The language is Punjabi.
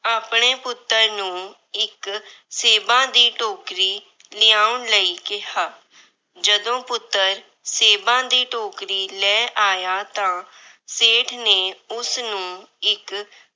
ਆਪਣੇ ਪੁੱਤਰ ਨੂੰ ਇੱਕ ਸੇਬਾਂ ਦੀ ਟੋਕਰੀ ਲਿਆਉਣ ਲਈ ਕਿਹਾ। ਜਦੋਂ ਪੁੱਤਰ ਸੇਬਾਂ ਦੀ ਟੋਕਰੀ ਲੈ ਆਇਆ ਤਾਂ ਸੇਠ ਨੇ ਉਸਨੂੰ ਇੱਕ